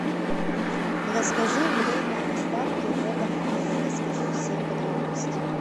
расскажи время доставки в этом отеле расскажи все подробности